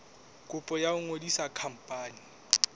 kopo ya ho ngodisa khampani